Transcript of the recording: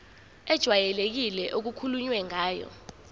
ejwayelekile okukhulunywe ngayo